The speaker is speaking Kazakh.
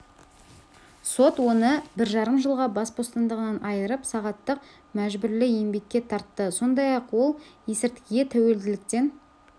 сот оны бір жарым жылға бас бостандығынан айырып сағаттық мәжбүрлі еңбекке тартты сондай-ақ ол есірткіге тәуелділіктен